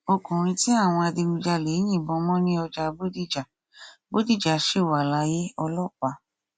ọkùnrin tí àwọn adigunjalè yìnbọn mọ ní ọjà bọdíjà bọdíjà sì wà láyé ọlọpàá